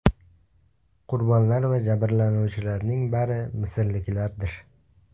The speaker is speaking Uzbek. Qurbonlar va jabrlanuvchilarning bari misrliklardir.